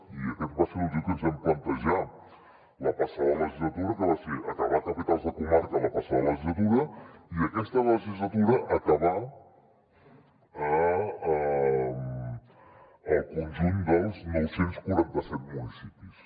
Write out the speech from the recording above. i aquest va ser el motiu que ens vam plantejar la passada legislatura que va ser acabar capitals de comarca la passada legislatura i aquesta legislatura acabar el conjunt dels nou cents i quaranta set municipis